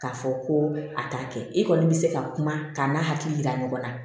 K'a fɔ ko a t'a kɛ i kɔni bɛ se ka kuma k'a n'a hakili yira ɲɔgɔn na